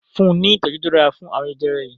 fun ní itọju to dára fún arun jẹjẹrẹ yí!